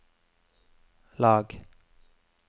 lag